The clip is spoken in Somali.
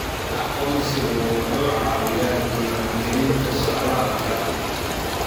Aqoonsigu wuxuu caawiyaa diiwaangelinta socdaalka.